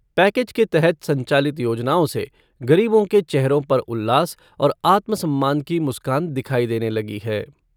Package के तहत संचालित योजनाओं से गरीबों के चेहरों पर उल्लास और आत्मसम्मान की मुस्कान दिखाई देने लगी है।